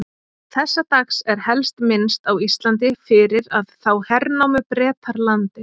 Þessa dags er helst minnst á Íslandi fyrir að þá hernámu Bretar landið.